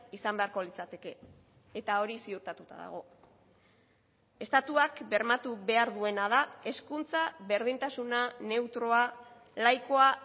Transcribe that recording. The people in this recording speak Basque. izan beharko litzateke eta hori ziurtatuta dago estatuak bermatu behar duena da hezkuntza berdintasuna neutroa laikoa